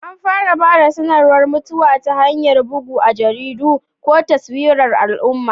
An fara ba da sanarwar mutuwa ta hanyar bugu a jaridu ko taswirar al'umma.